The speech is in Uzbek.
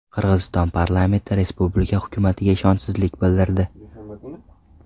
Qirg‘iziston parlamenti respublika hukumatiga ishonchsizlik bildirdi.